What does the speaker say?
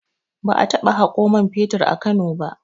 Ba a taɓa haƙo man fetur a Kano ba